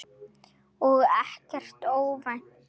Og ekkert óvænt.